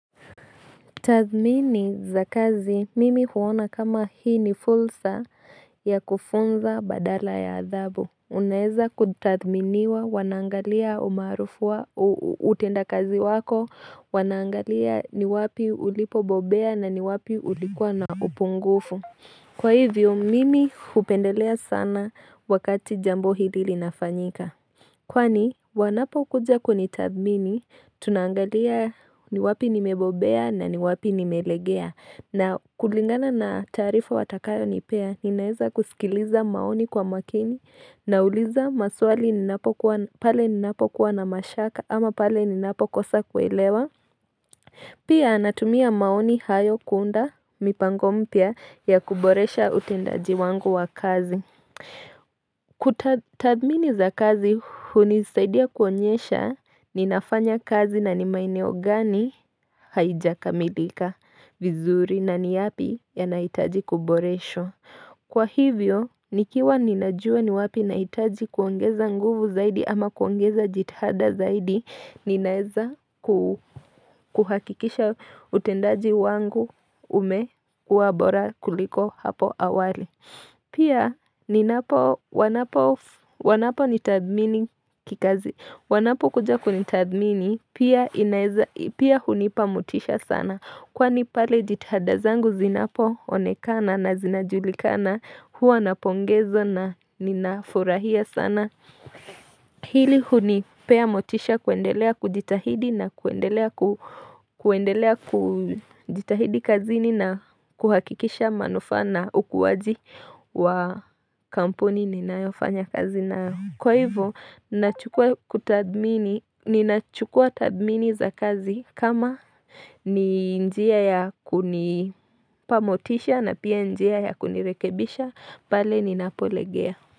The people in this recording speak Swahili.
Tathmini za kazi, mimi huona kama hii ni fulsa ya kufunza badala ya athabu. Unaeza kutathminiwa, wanaangalia umaarufu wa utendakazi wako, wanaangalia ni wapi ulipobobea na ni wapi ulikuwa na upungufu. Kwa hivyo, mimi hupendelea sana wakati jambo hili linafanyika. Kwani wanapokuja kunitathmini tunaangalia ni wapi nimebobea na ni wapi nimelegea na kulingana na taarifa watakayo nipea ninaweza kusikiliza maoni kwa makini na uliza maswali napokuwa na pale ninapokuwa na mashaka ama pale ninapokosa kuelewa Pia natumia maoni hayo kuunda mipango mpya ya kuboresha utendaji wangu wa kazi Tathmini za kazi hunisaidia kuonyesha ninafanya kazi na nimaeneo gani haijakamilika vizuri na ni yapi yanahitaji kuboreshwa. Kwa hivyo, nikiwa ninajua ni wapi nahitaji kuongeza nguvu zaidi ama kuongeza jitihada zaidi, ninaweza kuhakikisha utendaji wangu umekuwa bora kuliko hapo awali. Pia wanaponitathmini kikazi wanapokuja kunitathmini pia inaweza pia hunipa motisha sana. Kwani pale jitihada zangu zinapoonekana na zinajulikana, hua napongezwa na ninafurahia sana Hili hunipea motisha kuendelea kujitahidi na kuendelea kujitahidi kazini na kuhakikisha manufaa na ukuwaji wa kampuni ninayofanya kazi nayo kwa hivyo nachukua Ninachukua tathmini za kazi kama ni njia ya kunipa motisha na pia njia ya kunirekebisha pale ninapolegea.